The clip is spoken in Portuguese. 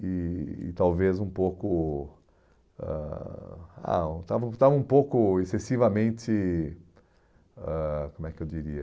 E e talvez um pouco... ãh ah estava estava um pouco excessivamente... ãh Como é que eu diria?